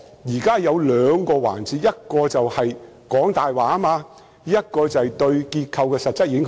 有兩個環節，一是說謊，另一是對結構的實質影響。